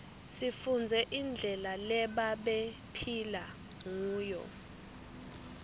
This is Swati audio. sifundze indlela lebabephila nguyo